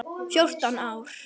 Fjórtán ár!